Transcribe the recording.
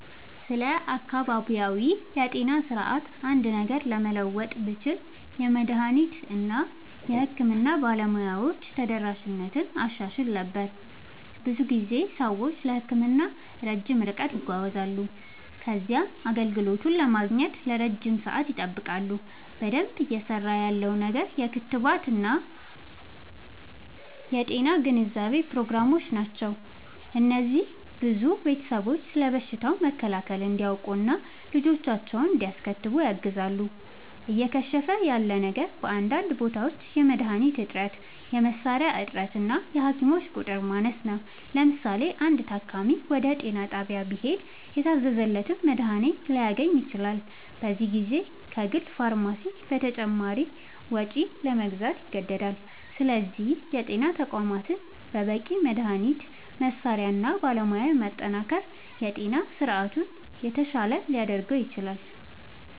ስለ አካባቢያዊ የጤና ስርዓት አንድ ነገር ለመለወጥ ብችል፣ የመድኃኒት እና የሕክምና ባለሙያዎች ተደራሽነትን አሻሽል ነበር። ብዙ ጊዜ ሰዎች ለሕክምና ረጅም ርቀት ይጓዛሉ ከዚያም አገልግሎቱን ለማግኘት ለረጅም ሰዓት ይጠብቃሉ። በደንብ እየሠራ ያለው ነገር የክትባት እና የጤና ግንዛቤ ፕሮግራሞች ናቸው። እነዚህ ብዙ ቤተሰቦች ስለ በሽታ መከላከል እንዲያውቁ እና ልጆቻቸውን እንዲያስከትቡ ያግዛሉ። እየከሸፈ ያለ ነገር በአንዳንድ ቦታዎች የመድኃኒት እጥረት፣ የመሣሪያ እጥረት እና የሐኪሞች ቁጥር ማነስ ነው። ለምሳሌ፣ አንድ ታካሚ ወደ ጤና ጣቢያ ቢሄድ የታዘዘለትን መድኃኒት ላያገኝ ይችላል፤ በዚህ ጊዜ ከግል ፋርማሲ በተጨማሪ ወጪ ለመግዛት ይገደዳል። ስለዚህ የጤና ተቋማትን በበቂ መድኃኒት፣ መሣሪያ እና ባለሙያ ማጠናከር የጤና ስርዓቱን የተሻለ ሊያደርገው ይችላል።